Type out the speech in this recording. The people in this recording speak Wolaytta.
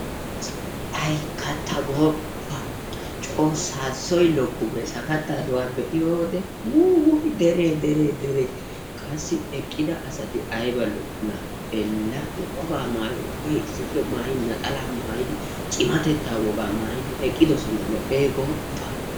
hayii katta gooppa saassoy lokku gees! lo'ees goopa! miyodekka eti wolaytta gidiyoogaa wolayttatettaa qonccissiyaga.